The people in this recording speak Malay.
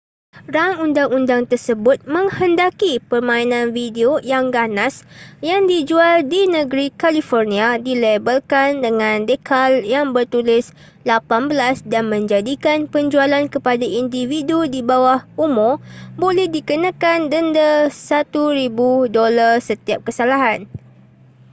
rang undang-undang tersebut menghendaki permainan video yang ganas yang dijual di negeri california dilabelkan dengan decal yang bertulis 18 dan menjadikan penjualan kepada individu di bawah umur boleh dikenakan denda $1000 setiap kesalahan